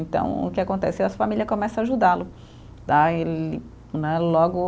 Então, o que acontece é as família começa ajudá-lo. Né logo